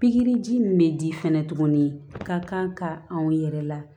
Pikiri ji min bɛ di fɛnɛ tuguni ka kan ka anw yɛrɛ la